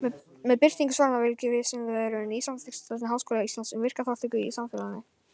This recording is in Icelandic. Með birtingu svaranna fylgir Vísindavefurinn nýsamþykktri stefnu Háskóla Íslands um virka þátttöku í samfélaginu.